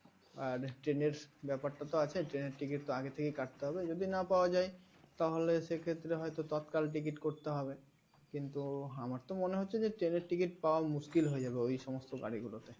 আর train এর ব্যাপার টা তো আছে train এর ticket তো আগের থেকে কাটতে হবে যদি না পাওয়া যায় তাহলে সেক্ষেত্রে হয়তো তৎকাল ticket করতে হবে কিন্তু আমার তো মনে হচ্ছে যে train এর ticket পাওয়া মুশকিল হয়ে যাবে ঐসমস্ত গাড়িগুলোতে